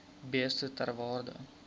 beeste ter waarde